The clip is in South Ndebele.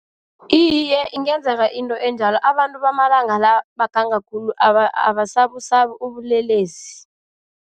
Iye, ingenzeka into enjalo abantu bamalanga la baganga khulu abasabusabi ubulelesi.